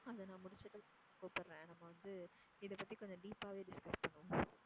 அதை நான் முடிச்சுட்டு கூப்பிடுறேன், நம்ம வந்து இதை பத்தி கொஞ்சம் deep ஆவே discuss பண்ணுவோம்